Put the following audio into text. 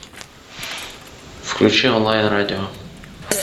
включи онлайн радио